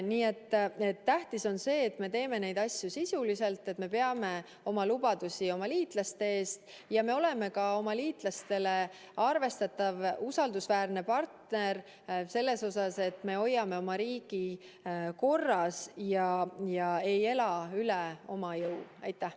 Nii et tähtis on see, et me teeme neid asju sisuliselt, et me peame oma lubadusi oma liitlaste ees ja me oleme ka oma liitlastele arvestatav usaldusväärne partner selles osas, et me hoiame oma riigi korras ja ei ela üle jõu.